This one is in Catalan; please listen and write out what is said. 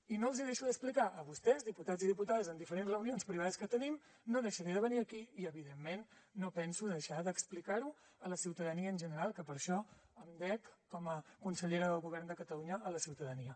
i no els ho deixo d’explicar a vostès diputats i diputades en diferents reunions privades que tenim no deixaré de venir aquí i evidentment no penso deixar d’explicar ho a la ciutadania en general que per això em dec com a consellera del govern de catalunya a la ciutadania